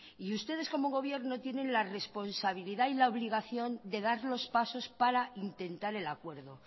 y ustedes como gobierno tienen la responsabilidad y la obligación de dar los pasos para intentar el acuerdo